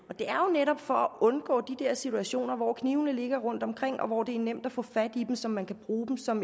netop for at undgå de der situationer hvor knivene ligger rundt omkring og hvor det er nemt at få fat i dem så man kan bruge dem som